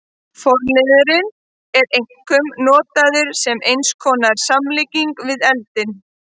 Forliðurinn er einkum notaður sem eins konar samlíking við eldinn.